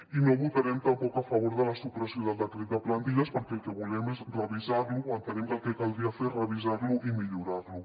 i no votarem tampoc a favor de la supressió del decret de plantilles perquè el que volem és revisar lo entenem que el que caldria fer és revisar lo i millorar lo